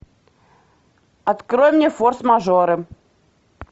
открой мне форс мажоры